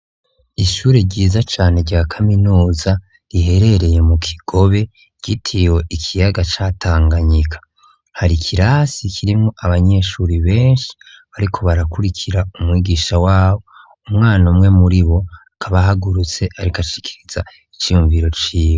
Ishure ryiza cane ryakaminuza riherereye mu kigobe ryitiriwe ikiyaga ca tanganyika hari ikirasi kirimwo abanyeshuri benshi bariko barakurikira umwigisha wabo, umwana umwe muribo akaba ahagurutse ariko ashikiriza iciyunviro ciwe.